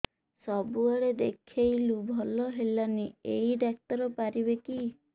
ସବୁଆଡେ ଦେଖେଇଲୁ ଭଲ ହେଲାନି ଏଇ ଡ଼ାକ୍ତର ପାରିବେ କି